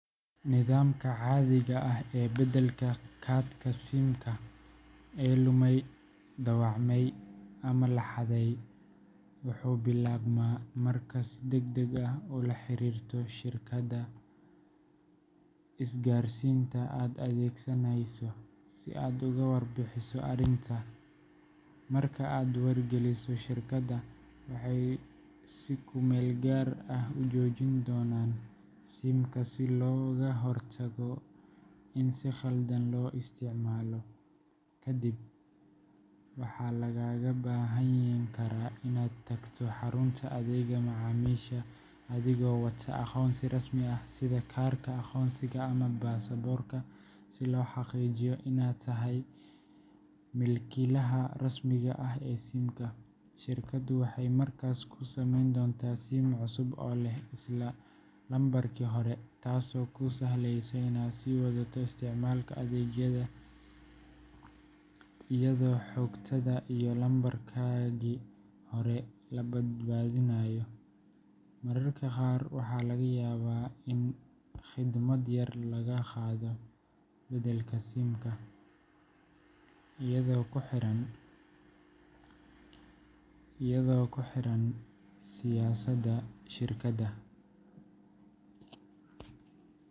Nidaamka caadiga ah ee beddelka kaadhka SIM-ka ee lumay, dhaawacmay ama la xaday wuxuu bilaabmaa markaad si degdeg ah ula xiriirto shirkadda isgaarsiinta aad adeegsanayso si aad uga warbixiso arrinta. Marka aad wargeliso shirkadda, waxay si ku-meelgaar ah u joojin doonaan SIM-ka si looga hortago in si khaldan loo isticmaalo. Kadib, waxaa lagaaga baahan karaa inaad tagto xarunta adeegga macaamiisha adigoo wata aqoonsi rasmi ah sida kaarka aqoonsiga ama baasaboorka si loo xaqiijiyo inaad tahay milkiilaha rasmiga ah ee SIM-ka. Shirkaddu waxay markaas kuu samayn doontaa SIM cusub oo leh isla lambarkii hore, taasoo kuu sahlaysa inaad sii wadato isticmaalka adeegyadaada iyadoo xogtaada iyo lambarkaagii hore la badbaadinayo. Mararka qaar waxaa laga yaabaa in khidmad yar lagaa qaado beddelka SIM-ka, iyadoo ku xiran siyaasadda shirkadda.